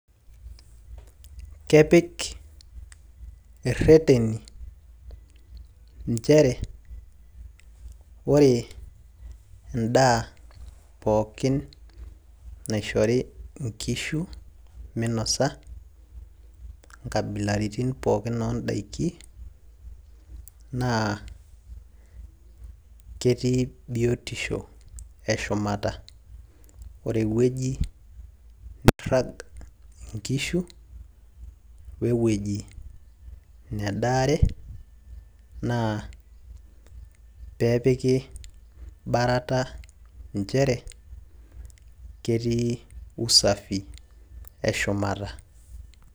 kepik ireteni, inchere ore edaa poookin naishori nkishu minosa. inkabilaritin pookin oodaiki, naa ketii biotisho eshumata. ore ewueji nirag inkishu we wueji nedaare. nepiki borata nchere ketii usafi e shumata.